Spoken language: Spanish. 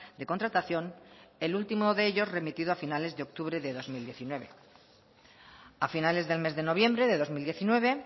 de contratación el último de ellos remitido a finales de octubre de dos mil diecinueve a finales del mes de noviembre de dos mil diecinueve